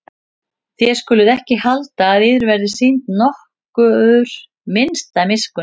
Þér skuluð ekki halda að yður verði sýnd nokkur minnsta miskunn.